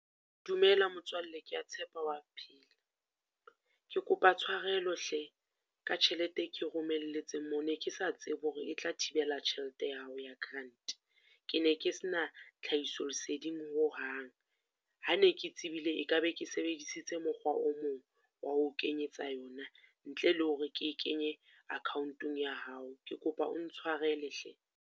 Dumela motswalle ke ya tshepa o wa phela, ke kopa tshwarelo hle ka tjhelete e ke romeletse mo, ne ke sa tsebe hore e tla thibela tjhelete ya hao ya grant. Ke ne ke sena tlhahiso leseding ho hang, ha ne ke tsebile e ka be ke sebedisitse mokgwa o mong, wa ho o kenyetsa yona. Ntle le hore ke e kenye account-ong ya hao, ke kopa o ntshwarele hle.